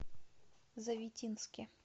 завитинске